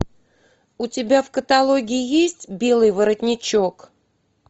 у тебя в каталоге есть белый воротничок